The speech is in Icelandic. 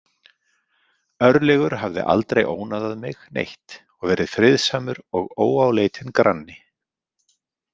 Örlygur hafði aldrei ónáðað mig neitt og verið friðsamur og óáleitinn granni.